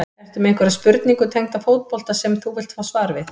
Ertu með einhverja spurningu tengda fótbolta sem þú vilt fá svar við?